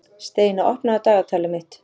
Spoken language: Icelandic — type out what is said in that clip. Steina, opnaðu dagatalið mitt.